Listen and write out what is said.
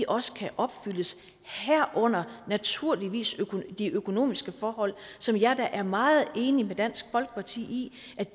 også kan opfyldes herunder naturligvis de økonomiske forhold som jeg da er meget enig med dansk folkeparti